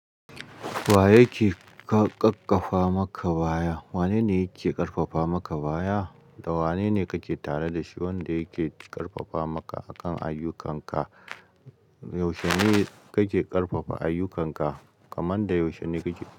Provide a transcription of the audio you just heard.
Wa yake ƙaƙƙafa maka baya? Wane ne yake ƙarfafa maka baya da wane ne kake tare da shi wanda yake ƙarfafa maka akan ayyukanka? Yaushe ne kake ƙarfafa ayyukanka kamar da yaushe ne kake.